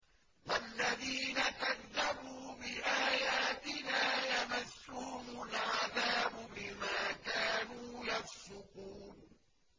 وَالَّذِينَ كَذَّبُوا بِآيَاتِنَا يَمَسُّهُمُ الْعَذَابُ بِمَا كَانُوا يَفْسُقُونَ